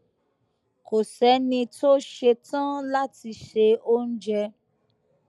kò séni tó ṣetán láti se oúnjẹ